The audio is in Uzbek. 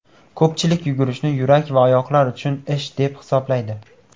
Ko‘pchilik yugurishni yurak va oyoqlar uchun ish deb hisoblaydi.